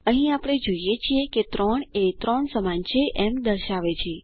અહીં આપણે જોઈએ છીએ 3 એ 3 સમાન છે એમ દર્શાવે છે